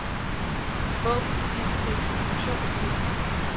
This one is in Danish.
Åbn distributionsliste.